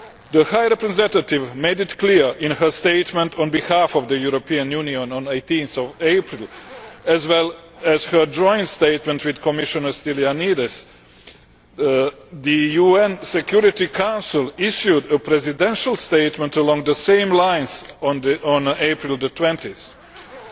The High Representative made this clear in her statement on behalf of the European Union of 18 April as well as in her Joint Statement with Commissioner Stylianides. The UN Security Council issued a Presidential Statement along the same lines on 20 April.